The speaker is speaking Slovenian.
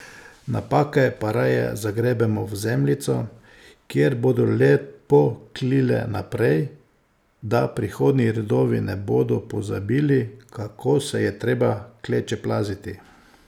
Napake pa raje zagrebemo v zemljico, kjer bodo lepo klile naprej, da prihodnji rodovi ne bodo pozabili, kako se je treba klečeplaziti.